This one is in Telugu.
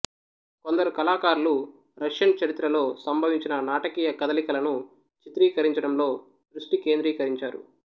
కొందరు కళాకారులు రష్యన్ చరిత్రలో సంభవించిన నాటకీయ కదలికలను చిత్రీకరించడంలో దృష్టి కేంద్రీకరించారు